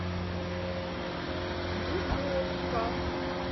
дубовка